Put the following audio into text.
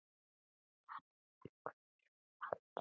Hann hverfur aldrei.